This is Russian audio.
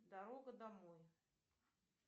дорога домой